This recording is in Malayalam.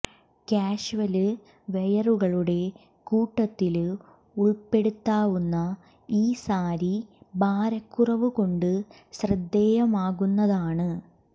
കാഷ്വല് വെയറുകളുടെ കൂട്ടത്തില് ഉള്പ്പെടുത്താവുന്ന ഈ സാരി ഭാരക്കുറവ് കൊണ്ട് ശ്രദ്ധേയമാകുന്നതാണ്